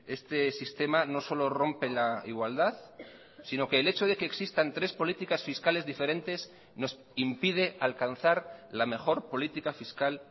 este sistema no solo rompe la igualdad sino que el hecho de que existan tres políticas fiscales diferentes nos impide alcanzar la mejor política fiscal